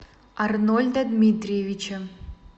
арнольда дмитриевича